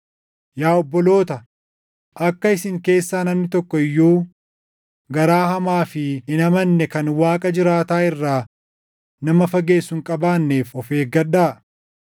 Yaa obboloota, akka isin keessaa namni tokko iyyuu garaa hamaa fi hin amanne kan Waaqa jiraataa irraa nama fageessu hin qabaanneef of eeggadhaa.